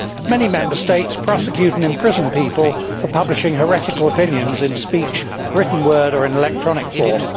Many Member States prosecute and imprison people for publishing heretical opinions in speech, written word or in electronic form.